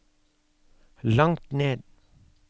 langt ned